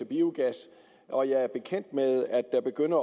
biogas og jeg er bekendt med at der begynder